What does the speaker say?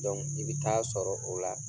i be taa sɔrɔ o la